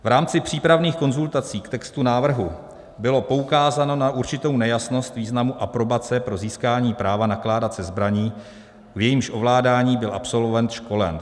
V rámci přípravných konzultací k textu návrhu bylo poukázáno na určitou nejasnost významu aprobace pro získání práva nakládat se zbraní, v jejímž ovládání byl absolvent školen.